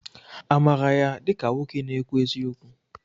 Amaara ya dịka nwoke na-ekwu eziokwu?